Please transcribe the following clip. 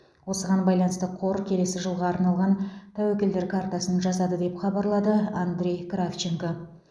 осыған байланысты қор келесі жылға арналған тәуекелдер картасын жасады деп хабарлады андрей кравченко